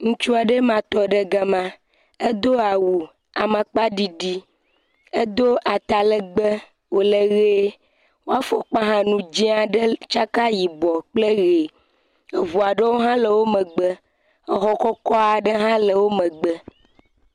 Ŋutsu aɖee ma tɔ ɖe gama, edo awu amakpa ɖiɖi, edo atalegbee wole ʋee, wo afɔkpa nu dzɛ̃ aɖe tsaka kple yibɔ kple ʋe, eŋu aɖewo hã le wo megbe, exɔ kɔkɔ aɖe hã le wo megbe.